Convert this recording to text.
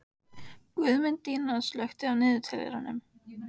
Guðmundína, slökktu á niðurteljaranum.